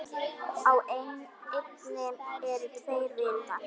Á eynni eru tveir vitar.